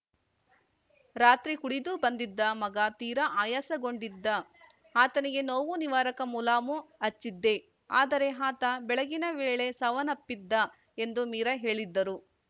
ರಾತ್ರಿ ಕುಡಿದು ಬಂದಿದ್ದ ಮಗ ತೀರಾ ಆಯಾಸಗೊಂಡಿದ್ದ ಆತನಿಗೆ ನೋವು ನಿವಾರಕ ಮುಲಾಮು ಹಚ್ಚಿದ್ದೆ ಆದರೆ ಆತ ಬೆಳಗಿನ ವೇಳೆ ಸಾವಪ್ಪನ್ನಿದ್ದ ಎಂದು ಮೀರಾ ಹೇಳಿದ್ದರು